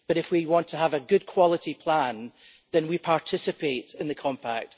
But if we want to have a good quality plan then we participate in the compact.